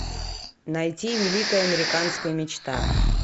найти великая американская мечта